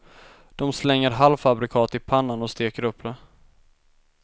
De slänger halvfabrikat i pannan och steker upp det.